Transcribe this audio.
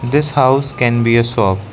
This house can be a shop.